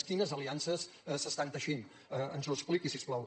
quines aliances s’estan teixint ens ho expliqui si us plau